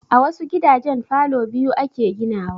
A wasu gidajen falo biyu ake ginawa